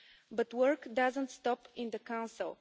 But work doesn't stop in the Council.